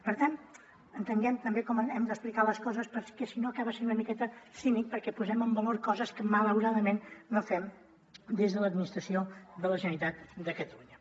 per tant entenguem també com hem d’explicar les coses perquè si no acaba sent una miqueta cínic perquè posem en valor coses que malauradament no fem des de l’administració de la generalitat de catalunya